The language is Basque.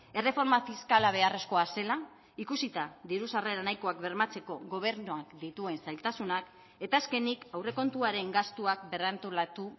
erreforma fiskala beharrezkoa zela ikusita diru sarrera nahikoak bermatzeko gobernuak dituen zailtasunak eta azkenik aurrekontuaren gastuak berrantolatu